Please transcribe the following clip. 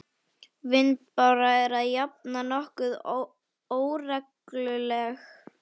Vindbára er að jafnaði nokkuð óregluleg.